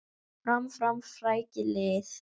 Fram, fram, frækið lið!